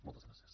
moltes gràcies